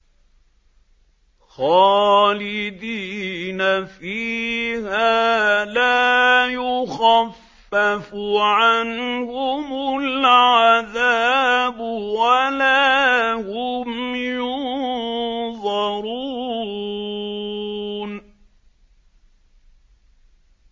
خَالِدِينَ فِيهَا لَا يُخَفَّفُ عَنْهُمُ الْعَذَابُ وَلَا هُمْ يُنظَرُونَ